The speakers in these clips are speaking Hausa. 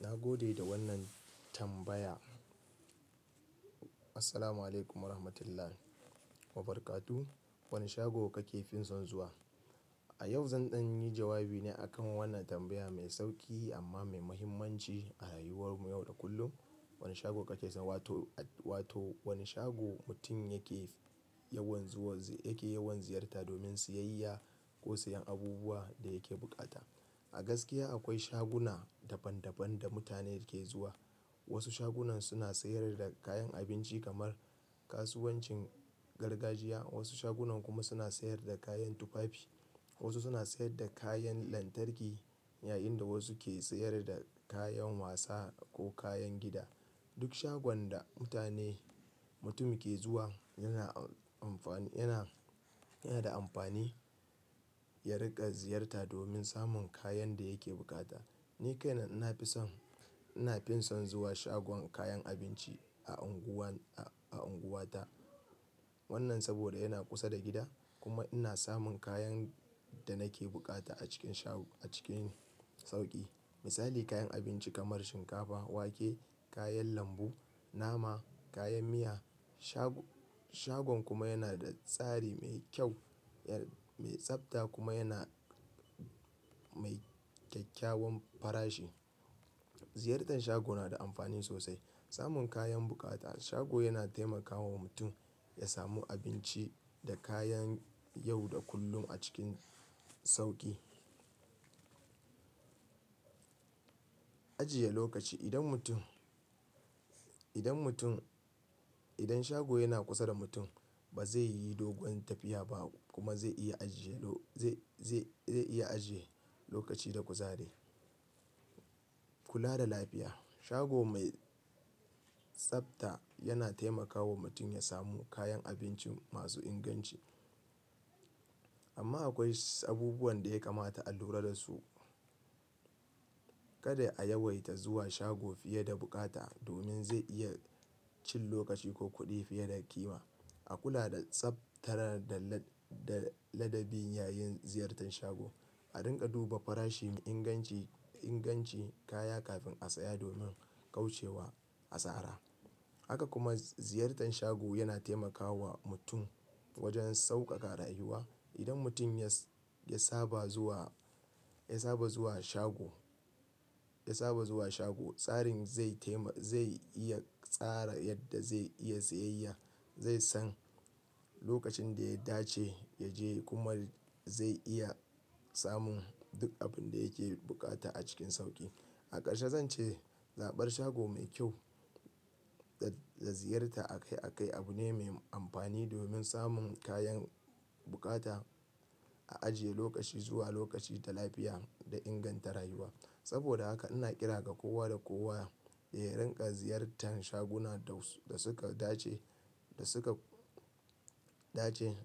Na gode da wannan tambaya. Assalamualaikum warahmatullahi wabarakatuh. Wani shago kake fi son zuwa? A yau zan ɗan yi jawabi ne akan wannan tambaya mai sauki amma mai muhimmanci a rayuwar mu yau da kullum. Wane shago kake son, wato wane shago mutum yake yawan zuwa, yake yawan ziyarta domin siyayya ko sayan abubuwa da yake bukata. A gaskiya akwai shaguna daban daban da mutane ke zuwa. Wasu shagunan suna sayar da kayan abinci kamar kasuwancin gargajiya, wasu shagunan kuma suna sayar da kayan tufafi, wasu suna sayar da kayan lantarki yayin da wasu ke sayar da kayan wasa ko kayan gida. Duk shagon da mutane, mutum ke zuwa yana amfani, yana, yana da amfani ya riƙa ziyarta domin samun kayan da yake bukata. Ni kaina ina fi son, ina finson zuwa shagon kayan abinci a unguwar, a unguwar ta. Wannan saboda yana kusa da gida kuma ina samun kayan da nake bukata a cikin sha a cikin sauƙi. Misali kayan abinci kamar shinkafa, wake, kayan lambu, nama, kayan miya. Shagon kuma yana da tsari mai kyau, mai tsafta kuma yana mai kyakkyawan farashi. Ziyartan shago na da amfani sosai. Samun kayan bukata a shago yana taimakawa mutum ya samu abinci da kayan yau da kullum a cikin sauƙi. Ajiye lokaci. Idan mutum, idan mutum, idan shago yana kusa da mutum ba zai yi dogon tafiya ba kuma zai iya ajiye, zai, zai iya ajiye lokaci da kuzari. Kula da lafiya. Shago mai tsafta yana taimakawa mutum ya samu kayan abinci masu inganci. Amma akwai abubuwan da ya kamata a lura da su. Kada a yawaita zuwa shago fiye da bukata domin zai iya cin lokaci ko kuɗi fiye da ƙima. A kula da tsafta da ladabi yayin ziyartan shago. A riƙa duba farashin inganci, ingancin kaya kafin a saya domin kauce wa asara. Haka kuma ziyartan shago yana taimakawa mutum wajen sauƙaƙa rayuwa. Idan mutum ya saba zuwa, ya saba zuwa shago, ya saba zuwa shago, tsarin zai taima, zai iya tsara yadda zai iya siyayya. Zai san lokacin da ya dace ya je kuma zai iya samun duk abin da yake bukata a cikin sauƙi. A ƙarshe zan ce, zaɓar shago mai kyau da ziyarta akai akai abu ne mai amfani domin samun kayan bukata, a ajiye lokaci zuwa lokaci da lafiya da inganta rayuwa. Saboda haka ina kira ga kowa da kowa ya riƙa ziyartan shaguna da suka dace, da suka dace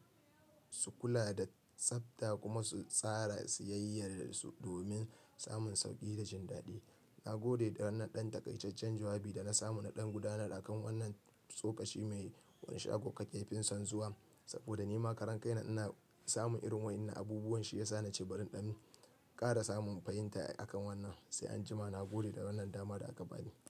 su kula da tsafta kuma su tsara siyayyar su domin samun sauƙi da jin daɗi. Na gode da wannan ɗan takaijajjen jawabi da na samu na ɗan gudanar a kan wannan tsofaffi mai wane shago kake finsan zuwa? Saboda ni ma karan kaina ina samun irin wa'inna abubuwan shi ya sa nace bari ɗan ƙara samun fahimta a kan wannan. Sai anjima na gode da wannan dama da aka bani.